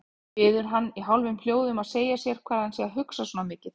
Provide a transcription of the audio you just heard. Biður hann í hálfum hljóðum að segja sér hvað hann sé að hugsa svona mikið.